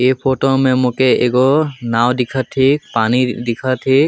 ये फोटो में मोके एक गो नाव दिखत हिक पानी दिखत हिक।